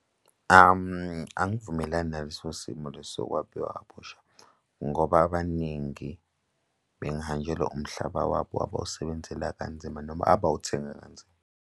Angivumelani naleso simo lesi sokwabiwa kabusha ngoba abaningi bengahanjelwa umhlaba wabo abawusebenzela kanzima noma abawuthenga kanzima.